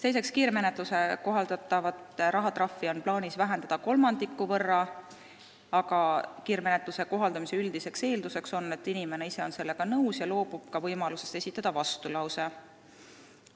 Teiseks, kiirmenetluses kohaldatavat rahatrahvi on plaanis vähendada kolmandiku võrra, aga kiirmenetluse kohaldamise üldine eeldus on, et inimene ise on sellega nõus ja loobub ka võimalusest esitada vastulause.